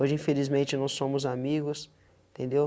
Hoje, infelizmente, não somos amigos, entendeu?